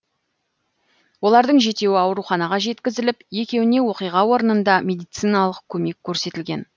олардың жетеуі ауруханаға жеткізіліп екеуіне оқиға орнында медициналық көмек көрсетілген